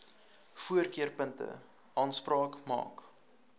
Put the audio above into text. voorkeurpunte aanspraak maak